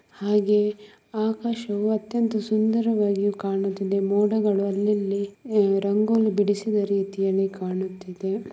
ಹಾಗೆ ಆಕಾಶವು ಅತ್ಯಂತ ಸುಂದರವಾಗಿ ಕಾಣುತ್ತಿದೆ ಮೋಡಗಳು ಅಲ್ಲಲ್ಲಿ ರಂಗೋಲಿ ಬಿಡಿಸಿದ ರೀತಿಯಲ್ಲಿ ಕಾಣಿಸುತ್ತಿದೆ.